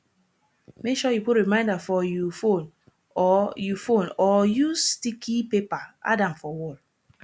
make sure you put reminder for you phone or you phone or use sticky paper add am for wall